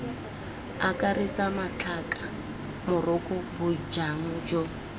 akaretse matlhaka moroko bojang jo